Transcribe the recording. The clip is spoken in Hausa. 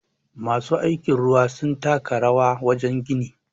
masu aiki ruwa sun taka rawabwajen gini